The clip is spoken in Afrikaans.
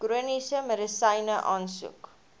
chroniese medisyne aansoek